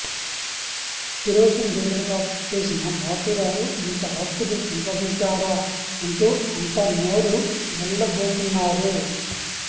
kerosene dealer గా చేసిన మారుతి రావు ఇంత ఆస్తులు సంపాదించాడా అంటూ అంతా నోరు వెళ్లబెతున్నారు